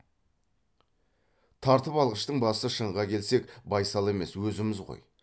тартып алғыштың басы шынға келсек байсал емес өзіміз ғой